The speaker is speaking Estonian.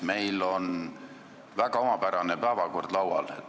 Meil on väga omapärane päevakord laual.